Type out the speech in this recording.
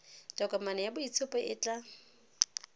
tokomane ya boitshupo e tla